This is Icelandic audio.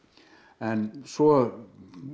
en svo